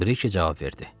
Brike cavab verdi.